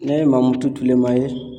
Ne ye Mamutu Tulema ye